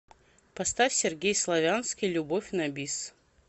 поставь сергей славянский любовь на бис